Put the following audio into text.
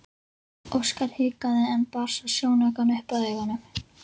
Óskar hikaði en bar svo sjónaukann upp að augunum.